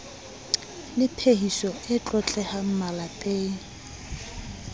le phehiso e tlotlehang malepeng